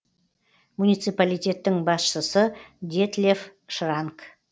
муниципалитеттің басшысы детлеф шранк